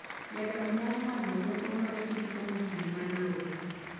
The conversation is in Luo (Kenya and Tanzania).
Jadak nyalo manyo rieko mar chik kuom okil mar lowo.